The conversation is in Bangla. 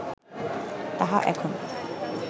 তাহা এখন